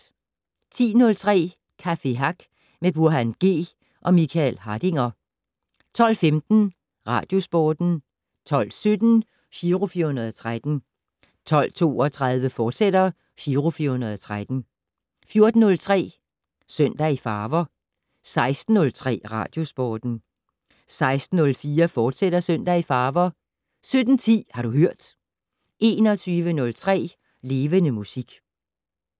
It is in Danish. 10:03: Café Hack med Burhan G og Michael Hardinger 12:15: Radiosporten 12:17: Giro 413 12:32: Giro 413, fortsat 14:03: Søndag i farver 16:03: Radiosporten 16:04: Søndag i farver, fortsat 17:10: Har du hørt 21:03: Levende Musik